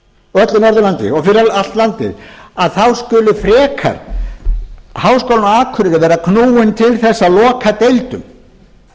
öllu norðurlandi og fyrir allt landið skuli frekar háskólinn á akureyri vera knúinn til að loka deildum